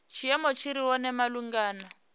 tshiimo tshi re hone malugana